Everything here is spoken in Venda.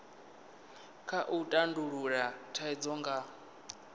kha u tandulula thaidzo nga